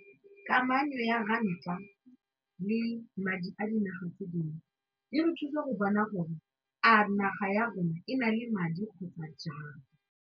Kamano ya ranta le madi a dinaga tse dingwe e re thusa go bona gore a naga ya rona e na le madi kgotsa jang.